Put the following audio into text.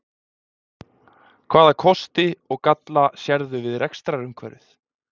Hvaða kosti og galla sérðu við rekstrarumhverfið?